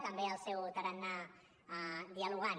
també el seu tarannà dialogant